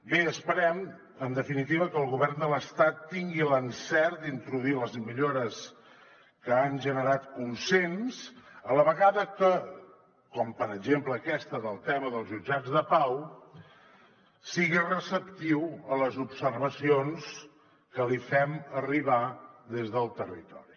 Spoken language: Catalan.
bé esperem en definitiva que el govern de l’estat tingui l’encert d’introduir les millores que han generat consens a la vegada que com per exemple aquesta del tema dels jutjats de pau sigui receptiu a les observacions que li fem arribar des del territori